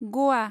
ग'वा